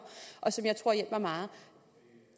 og som jeg tror hjælper meget